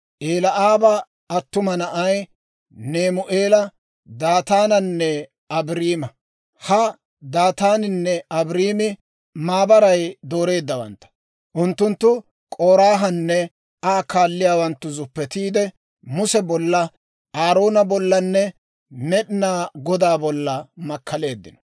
Eli'aaba attuma naanay Nemu'eela, Daataananne Abiiraama; ha Daataaninne Abiiraami maabaray dooreeddawantta. Unttunttu K'oraahanne Aa kaalliyaawanttuna zuppetiide, Muse bolla, Aaroona bollanne Med'inaa Godaa bolla makkaleeddino.